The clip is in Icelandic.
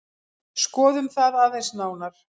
Skoðum það aðeins nánar.